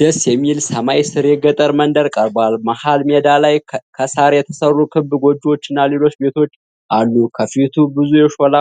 ደስ የሚል ሰማይ ስር የገጠር መንደር ቀርቧል። መሃል ሜዳ ላይ ከሳር የተሰሩ ክብ ጎጆዎችና ሌሎች ቤቶች አሉ። ከፊቱ ብዙ የሾላ